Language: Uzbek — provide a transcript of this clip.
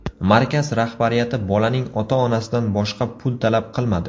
Markaz rahbariyati bolaning ota-onasidan boshqa pul talab qilmadi.